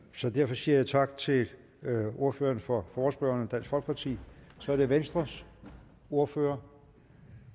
så derfor siger jeg tak til ordføreren for forespørgerne dansk folkeparti så er det venstres ordfører